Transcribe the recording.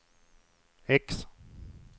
X